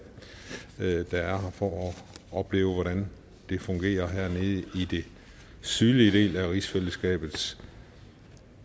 for at opleve hvordan det fungerer hernede i den sydlige del af rigsfællesskabets